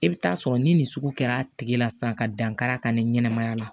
I bɛ taa sɔrɔ ni nin sugu kɛra a tigi la sisan ka dankara ka ni ɲɛnɛmaya la